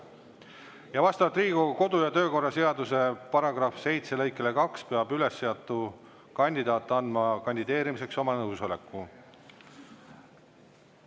Ja vastavalt Riigikogu kodu- ja töökorra seaduse § 7 lõikele 2 peab üles seatud kandidaat andma kandideerimiseks oma nõusoleku.